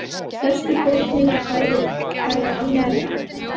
Stærstu fórnina færa almennir Afganar.